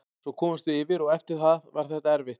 Svo komumst við yfir og eftir það var þetta erfitt.